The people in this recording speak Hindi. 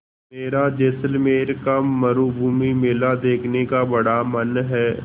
मेरा जैसलमेर का मरूभूमि मेला देखने का बड़ा मन है